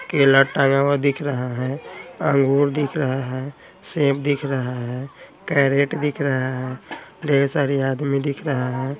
केला टंगा हुआ दिख रहा हैं अंगूर दिख रहा हैं सेंब दिख रहा हैं कैरेट दिख रहा हैं ढेर सारी आदमी दिख रहा हैं।